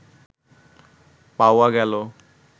পাওয়া গেল